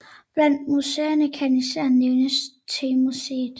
Blandt museerne kan især nævnes temuseet